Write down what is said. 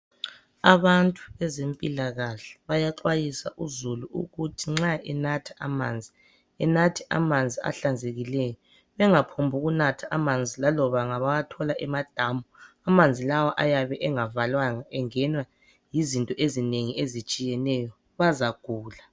Abantu bezempilakahle bayaxwayisa uzulu ukuthi nxa enatha amanzi, anathe amanzi ahlanzekileyo. Engaphombukunatha amanzi laloba ngabawathola emadamu, amanzi lawa ayabe engavalwanga engenwa yizinto ezinengi ezitshiyeneyo. Bazagula.